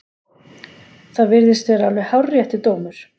Það virðist vera alveg hárréttur dómur.